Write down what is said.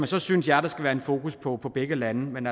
så synes jeg der skal være fokus på på begge lande men